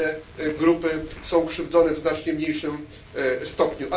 Inne grupy są krzywdzone w znacznie mniejszym stopniu.